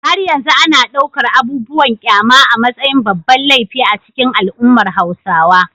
Har yanzu ana ɗaukar abubuwan kyama a matsayin babban laifi a cikin al’ummar Hausawa.